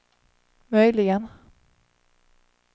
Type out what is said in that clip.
möjligen